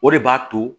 O de b'a to